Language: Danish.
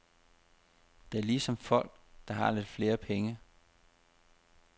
Det er ligesom folk, der har lidt flere penge.